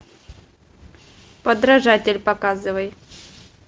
подражатель показывай